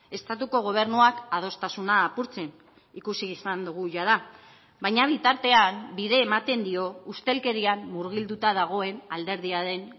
estatuko gobernuak adostasuna apurtzen ikusi izan dugu jada baina bitartean bide ematen dio ustelkerian murgilduta dagoen alderdia den